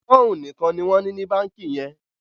poun nìkàn ní wón ní ní bánkì yẹn